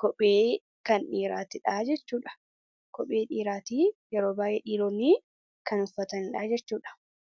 kophee kan dhiiraatidha jechuudha. Kophee dhiiraati, yeroo baay'ee dhiironni kan uffatanidha jechuudha.